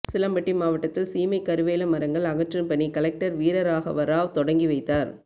உசிலம்பட்டி வட்டத்தில் சீமைக்கருவேல மரங்கள் அகற்றும் பணி கலெக்டர் வீரராகவராவ் தொடங்கி வைத்தார்